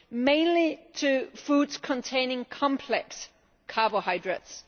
mainly to foods containing complex carbohydrates.